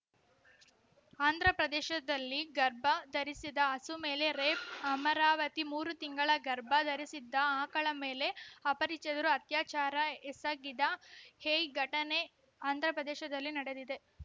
ಆಂಧ್ರಪ್ರದೇಶದಲ್ಲಿ ಗರ್ಭ ಧರಿಸಿದ ಹಸು ಮೇಲೆ ರೇಪ್‌ ಅಮರಾವತಿ ಮೂರು ತಿಂಗಳ ಗರ್ಭ ಧರಿಸಿದ್ದ ಆಕಳ ಮೇಲೆಯೇ ಅಪರಿಚಿತರು ಅತ್ಯಾಚಾರ ಎಸಗಿದ ಎಯ್ ಘಟನೆ ಆಂಧ್ರಪ್ರದೇಶದಲ್ಲಿ ನಡೆದಿದೆ